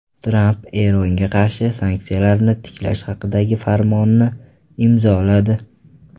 Tramp Eronga qarshi sanksiyalarni tiklash haqidagi farmonni imzoladi.